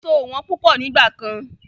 Èso ò wọ́n púpọ̀ nígbà kan.